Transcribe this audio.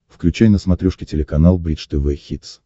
включай на смотрешке телеканал бридж тв хитс